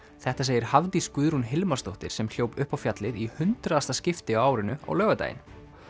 þetta segir Hafdís Guðrún Hilmarsdóttir sem hljóp upp á fjallið í hundraðasta skipti á árinu á laugardaginn